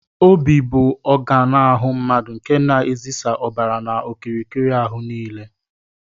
Óbị bụ ọganu ahụ mmadụ nke na ezisa ọbara n'okirikiri áhù niile.